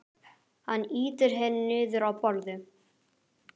Hann ýtir henni niður á borðið.